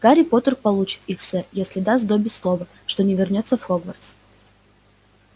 гарри поттер получит их сэр если даст добби слово что не вернётся в хогвартс